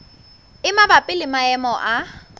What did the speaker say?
e mabapi le maemo a